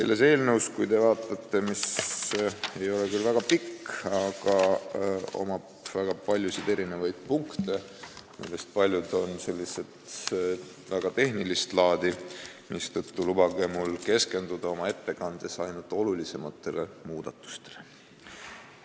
Te näete, et see eelnõu ei ole küll väga pikk, aga seal on väga palju punkte, millest paljud on tehnilist laadi, mistõttu lubage mul oma ettekandes keskenduda ainult olulisematele muudatustele.